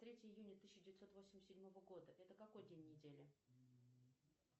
третье июня тысяча девятьсот восемьдесят седьмого года это какой день недели